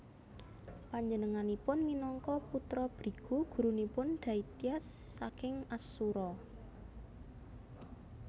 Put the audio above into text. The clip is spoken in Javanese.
Panjenenganipun minangka putra Brigu gurunipun Daityas saking Asura